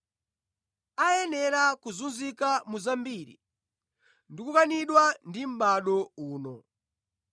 Koma poyamba ayenera kuzunzika mu zambiri ndi kukanidwa ndi mʼbado uno.